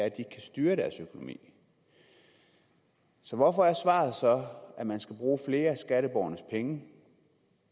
ikke styre deres økonomi hvorfor er svaret så at man skal bruge flere af skatteborgernes penge